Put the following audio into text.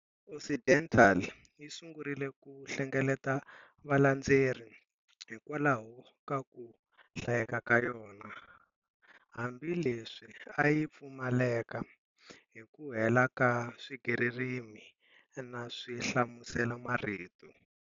Occidental yi sungurile ku hlengeleta valandzeri hikwalaho ka ku hlayeka ka yona, hambi leswi a yi pfumaleka hi ku hela ka swigaririmi na swihlamuselamarito.